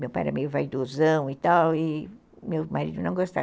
Meu pai era meio vaidosão e tal, e meu marido não gostava.